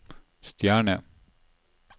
stjerne